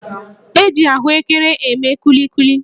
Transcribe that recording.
E ji ahụekere eme kulikuli